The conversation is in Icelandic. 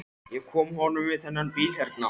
Ég kom að honum við þennan bíl hérna.